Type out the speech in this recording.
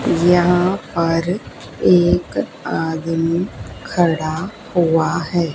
यहां पर एक आदमी खड़ा हुआ है।